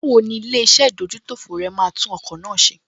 Báwo ni ilé-iṣẹ́ ìdójútòfò rẹ máa tún ọkọ̀ náà ṣe?